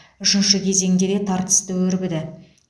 үшінші кезең де тартысты өрбіді